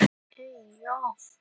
Flemming, hvernig er dagskráin?